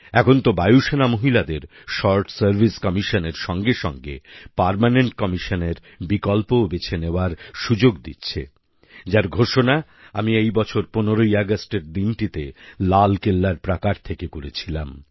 এখন তো বায়ুসেনা মহিলাদের শর্ট সার্ভিস কমিশনএর সঙ্গে সঙ্গে পার্মানেন্ট কমিশনএর বিকল্পও বেছে নেওয়ার সুযোগ দিচ্ছে যার ঘোষণা আমি এই বছর ১৫ আগষ্টের দিনটিতে লালকেল্লার প্রাকার থেকে করেছিলাম